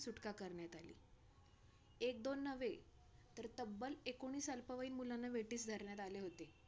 सुटका करण्यात आली. एक-दोन नव्हे तर, तब्ब्ल एकोणीस अल्पवयीन मुलांना वेठीस धरण्यात आले होते.